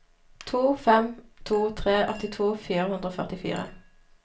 to fem to tre åttito fire hundre og førtifire